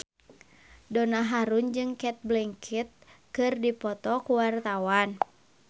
Donna Harun jeung Cate Blanchett keur dipoto ku wartawan